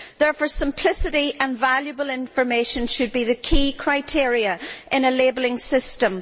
Therefore, simplicity and valuable information should be the key criteria in a labelling system.